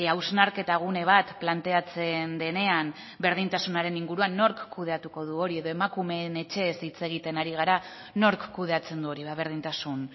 hausnarketa gune bat planteatzen denean berdintasunaren inguruan nork kudeatuko du hori edo emakumeen etxeez hitz egiten ari gara nork kudeatzen du hori ba berdintasun